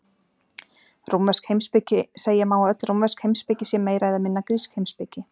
Rómversk heimspeki Segja má að öll rómversk heimspeki sé meira eða minna grísk heimspeki.